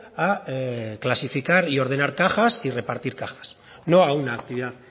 a clasificar y ordenar cajas y repartir cajas no a una actividad